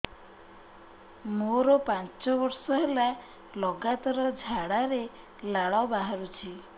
ମୋରୋ ପାଞ୍ଚ ବର୍ଷ ହେଲା ଲଗାତାର ଝାଡ଼ାରେ ଲାଳ ବାହାରୁଚି